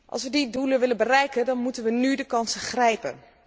Als we die doelen willen bereiken, dan moeten we de kansen nu grijpen.